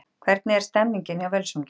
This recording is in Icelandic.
Hvernig er stemningin hjá Völsungi?